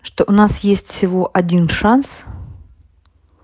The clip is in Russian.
что у нас есть всего один шанс